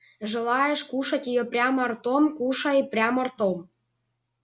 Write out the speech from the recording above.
желаешь кушать её прямо ротом кушай прямо ротом